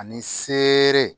Ani seere